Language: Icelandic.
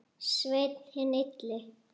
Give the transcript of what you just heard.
Sveinn hinn illi.